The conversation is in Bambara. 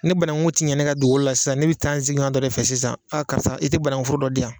Ne banaŋu ti ɲa ne ka duukoo la san ne be taa n siɲɔɔn dɔ de fɛ sisan karisa i te banaŋuforo dɔ di yan